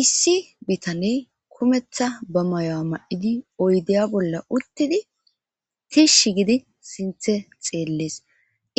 issi bitaney kumetha ba mayo7a ma7idi oydeya bolla uttidi tishshi gidi sinthe xeellees